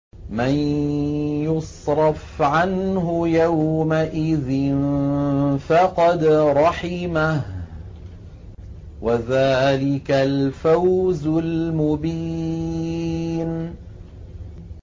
مَّن يُصْرَفْ عَنْهُ يَوْمَئِذٍ فَقَدْ رَحِمَهُ ۚ وَذَٰلِكَ الْفَوْزُ الْمُبِينُ